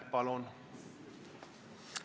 Palun!